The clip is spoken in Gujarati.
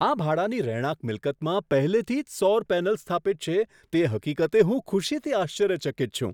આ ભાડાની રહેણાંક મિલકતમાં પહેલેથી જ સૌર પેનલ્સ સ્થાપિત છે, તે હકીકતે હું ખુશીથી આશ્ચર્યચકિત છું.